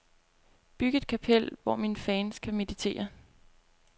Byg et kapel, hvor mine fans kan meditere.